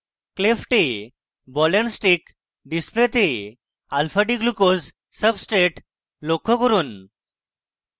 cleft ball and stick ডিসপ্লেতে alfadglucose substrate লক্ষ্য করুন